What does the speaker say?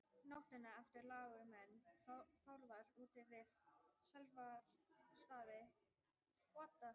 nóttina eftir lágu menn þórðar úti við silfrastaði í skagafirði